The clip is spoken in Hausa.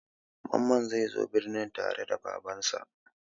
Mamman zai zo birni tare da Babansa.